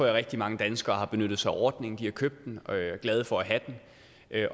rigtig mange danskere benyttet sig af ordningen de har købt den og er glade for at have den